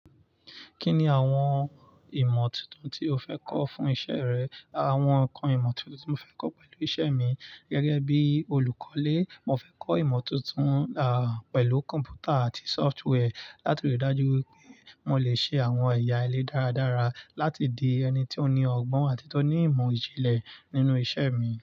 Kí ni àwọn ìmọ̀ tuntun tí o fẹ́ kọ́ fún iṣẹ́ rẹ? Àra awọn ǹnkan ìmọ̀ tí mo tun fẹ́ kọ́ pẹ̀lú iṣẹ́ mi gẹ́gẹ́ bí olùkọ́lé, mo fẹ́ kọ́ ìmọ̀ tuntun, pẹ̀lú kọ̀m̀pútà àti software láti rí i dájú wípé mo lè ṣe àwọn ẹ̀ya ilé dáradára láti di ẹni tí ó ní ọgbọ́n àti tó ní ìmọ̀ ìjìnlẹ̀ nínú iṣẹ́ mi.